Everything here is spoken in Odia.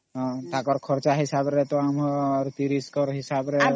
ତାଙ୍କର ଘରକ ହିସାବ ରେ ତା ଆମର 30 ଜଣ